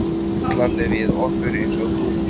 Dútlandi við okkur eins og dúkkur.